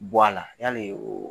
Bɔ a la yali